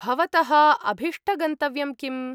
भवतः अभीष्टगन्तव्यं किम्?